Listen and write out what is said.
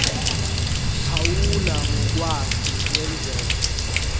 phawula ngokwake kwenzeka